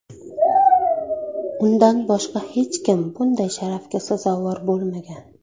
Undan boshqa hech kim bunday sharafga sazovor bo‘lmagan.